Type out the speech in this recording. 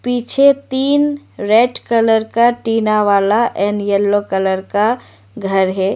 पीछे तीन red colour का टीना वाला एंड येलो कलर का घर है।